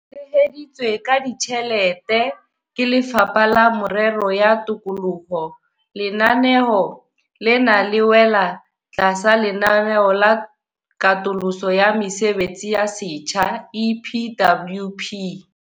Le tsheheditswe ka ditjhelete ke Lefapha la Merero ya Tikoloho, lenaneo lena le wela tlasa Lenaneo la Katoloso ya Mesebetsi ya Setjhaba, EPWP.